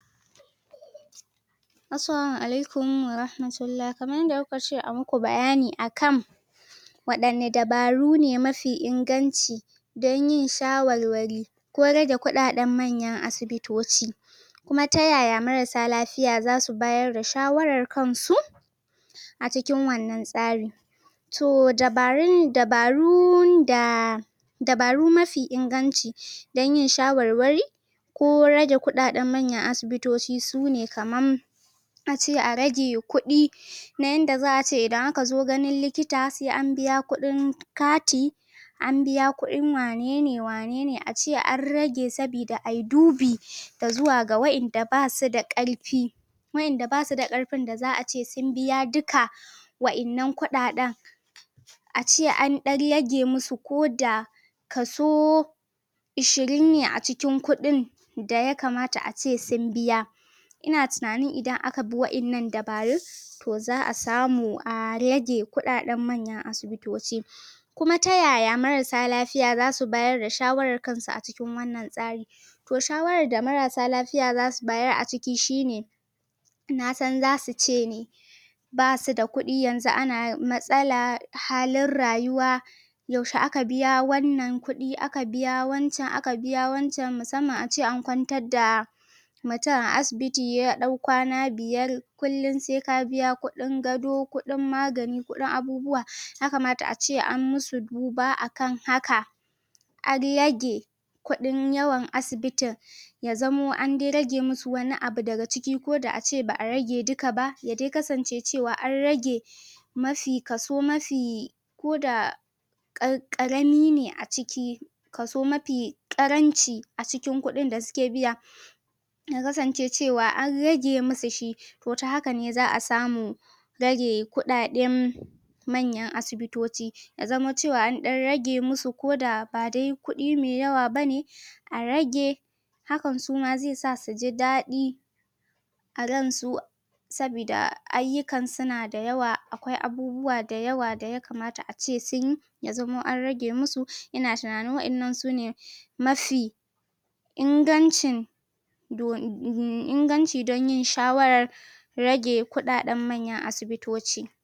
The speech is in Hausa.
Assalamu alaikum warahmatullah Kamar yadda kuka ce a ma ku bayani a kan waɗanne dabaru ne mafi inganci dan yin shawarwari ko rage kuɗaɗen manyan asibitoci kuma ta yaya marassa lafiya za su bayar da shawarar kansu a cikin wanna tsarin to dabarun da dabaru mafi inganci dan yin shawarwari ko rage kuɗaɗen manyan asibitoci su ne kamar in na ce a rage kuɗi na yanda za a ce idan aka zo ganin likita sai an biya kuɗin kati. an biya kuɗin wanen ne wane ne ace an rage saboda a yi dubi ga zuwa ga waɗanda ba su da ƙarfi waɗanda ba su da ƙarfin da za a ce sun biya duka waɗannan kuɗaɗen. a ce an ɗan rage masu ko da kaso ishirin ne a cikin kuɗin da ya kamata ace sun biya Ina tunanin idan biyo waɗannan dabarun to za a samu a rage kuɗaɗen manyan asibiti wa kuma ta yaya marassa lafiya za su bayar da shawarar kansu a cikin wannan tsarin. to shawarar da marassa lafiya za su bayar a ciki shi ne na san za su ce ne ba su da kuɗi yanzun ana matsala halin rayuwa yaushe aka biya wannan kuɗi aka biya wancan aka biya wancan musamman a ce an kwantar da mutum a asibiti ya ɗau kwana biyar kullum sai ka biya kuɗin gado kuɗin magani kuɗin abubuwa ya kamata ace an musu duba a kana haka an rage kuɗin yawan asibitin ya zamo an rage musu wani abu daga ciki koda a ce ba rage duka ba ya dai kasance cewa an rage kaso mafi kaso mafi koda ƙarami ne a ciki kaso mafi ƙaranci a cikin kuɗin da suke biya ya kasance cewa an rage masu shi. ko ta haka ne za a samu rage kuɗaɗen manyan asibitoci. ya zamo cewa an ɗan rage musu ko da ba dai kuɗi mai yawa ba ne a rage hakan su ma zai sa su ji daɗi a ransu sabida ayyukan suna da yawa akwai abubuwa da yawa da ya kamata a ce sun yi. ya zamo an rage musu ina tunanin waɗannan su ne mafi ingancin inganci don yin shawarar rage kuɗaɗen manyan asibitoci.